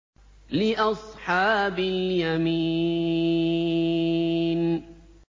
لِّأَصْحَابِ الْيَمِينِ